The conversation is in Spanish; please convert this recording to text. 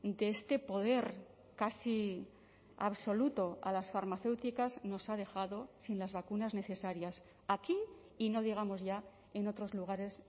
de este poder casi absoluto a las farmacéuticas nos ha dejado sin las vacunas necesarias aquí y no digamos ya en otros lugares